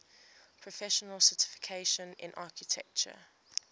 professional certification in architecture